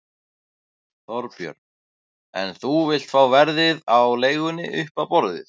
Þorbjörn: En þú vilt fá verðið á leigunni upp á borðið?